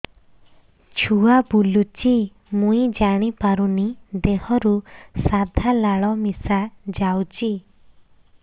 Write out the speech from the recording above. ଛୁଆ ବୁଲୁଚି ମୁଇ ଜାଣିପାରୁନି ଦେହରୁ ସାଧା ଲାଳ ମିଶା ଯାଉଚି